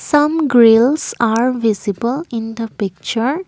some grills are visible in the picture.